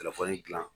Telefɔni gilan